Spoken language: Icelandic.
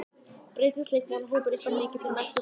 Breytist leikmannahópur ykkar mikið fyrir næsta sumar?